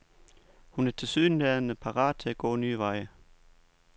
Hun er tilsyneladende parat til at gå nye veje.